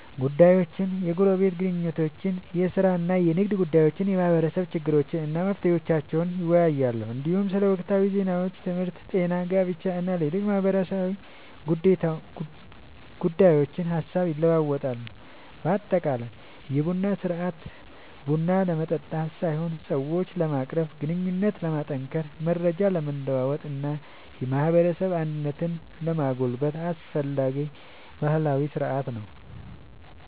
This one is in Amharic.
ጉዳዮችን፣ የጎረቤት ግንኙነቶችን፣ የሥራ እና የንግድ ጉዳዮችን፣ የማህበረሰብ ችግሮችን እና መፍትሄዎቻቸውን ይወያያሉ። እንዲሁም ስለ ወቅታዊ ዜናዎች፣ ትምህርት፣ ጤና፣ ጋብቻ እና ሌሎች ማህበራዊ ጉዳዮች ሐሳብ ይለዋወጣሉ። በአጠቃላይ የቡና ሥርዓት ቡና ለመጠጣት ሳይሆን ሰዎችን ለማቀራረብ፣ ግንኙነትን ለማጠናከር፣ መረጃ ለመለዋወጥ እና የማህበረሰብ አንድነትን ለማጎልበት አስፈላጊ ባህላዊ ሥርዓት ነው።